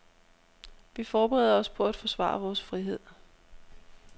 Vi forbereder os på at forsvare vores frihed.